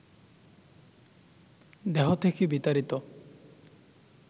দেহ থেকে বিতাড়িত